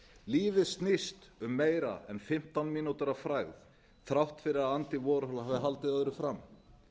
lífið snýst um meira en fimmtán mínútur af frægð þrátt fyrir að andy warhol hafi öðru fram